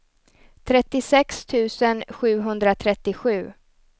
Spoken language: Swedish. trettiosex tusen sjuhundratrettiosju